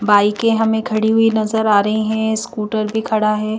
बाईके हमें खड़ी हुई नजर आ रही हैं स्कूटर भी खड़ा है।